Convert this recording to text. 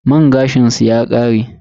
Man gashin su ya kare.